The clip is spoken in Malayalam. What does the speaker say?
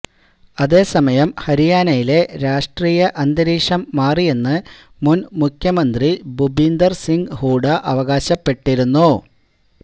അതേസമയം ഹരിയാനയിലെ രാഷ്ട്രീയ അന്തരീക്ഷം മാറിയെന്ന് മുൻ മുഖ്യമന്ത്രി ഭുപീന്ദർ സിങ് ഹൂഡ അവകാശപ്പെട്ടിരുന്നു